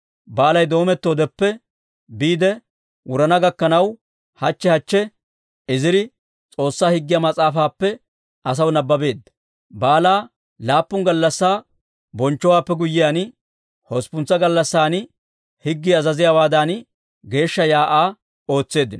Baalay doomettoodeppe biide wurana gakkanaw, hachche hachche Iziri S'oossaa Higgiyaa Mas'aafaappe asaw nabbabeedda. Baalaa laappun gallassaa bonchchowaappe guyyiyaan, hosppuntsa gallassan higgii azaziyaawaadan geeshsha shiik'uwaa ootseeddino.